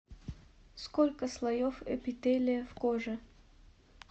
сколько слоев эпителия в коже